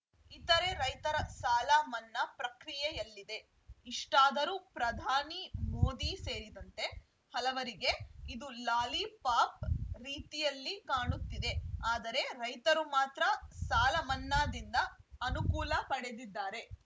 ಇತರೆ ರೈತರ ಸಾಲ ಮನ್ನಾ ಪ್ರಕ್ರಿಯೆಯಲ್ಲಿದೆ ಇಷ್ಟಾದರೂ ಪ್ರಧಾನಿ ಮೋದಿ ಸೇರಿದಂತೆ ಹಲವರಿಗೆ ಇದು ಲಾಲಿಪಾಪ್‌ ರೀತಿಯಲ್ಲಿ ಕಾಣುತ್ತಿದೆ ಆದರೆ ರೈತರು ಮಾತ್ರ ಸಾಲಮನ್ನಾದಿಂದ ಅನುಕೂಲ ಪಡೆದಿದ್ದಾರೆ